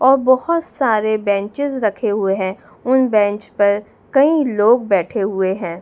और बहोत सारे बेंचेज रखे हुए हैं उन बेंच पर कई लोग बैठे हुए हैं।